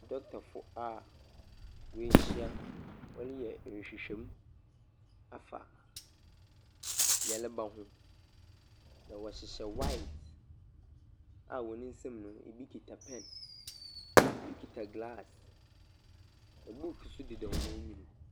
Dɔntafo a wɔahyia wɔreyɛ nhwehwɛ mu afa yareba ho. Na wɔhyehyɛ white a wɔn nsam no bi kita pɛn. Bi kita glass. Na book nso deda wɔn enyim.